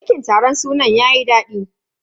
Girkin taron sunan yayi dadi.